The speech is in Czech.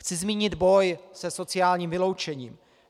Chci zmínit boj se sociálním vyloučením.